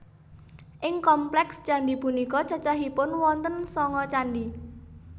Ing kompleks candhi punika cacahipun wonten sanga candhi